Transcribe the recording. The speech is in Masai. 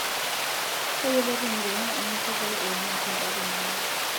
Tayiolo tenguton eninko pee iramat indapi inono.